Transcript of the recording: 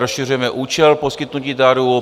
Rozšiřujeme účel poskytnutí daru.